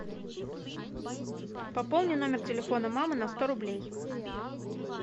пополни номер телефона мамы на сто рублей